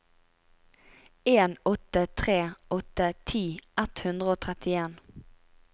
en åtte tre åtte ti ett hundre og trettien